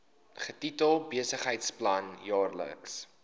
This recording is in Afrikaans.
getitel besigheidsplan jaarlikse